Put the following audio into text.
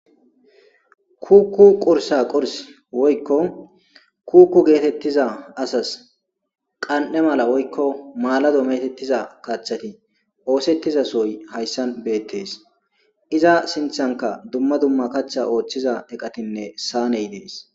kuukku qursa qurs woykko kuukku geetettiza asas qan7e mala woykko maalado metettiza kachchati oosettizasoy hayssan beettes iza sinthanka dumma dumma kachcha ooththiza eqatinne saaney dees